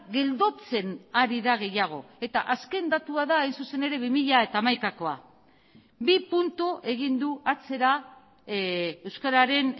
geldotzen ari da gehiago eta azken datua da hain zuzen ere bi mila hamaikakoa bi puntu egin du atzera euskararen